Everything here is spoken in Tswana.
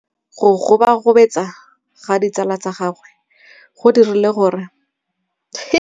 Go gobagobetsa ga ditsala tsa gagwe, gore ba tsamaye go dirile gore a lebale tšhelete.